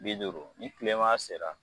Bi duuru ni tilema sera